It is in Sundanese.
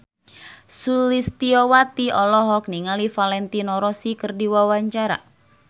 Sulistyowati olohok ningali Valentino Rossi keur diwawancara